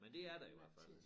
Men det er der i hvert fald